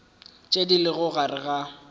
tše di lego gare ga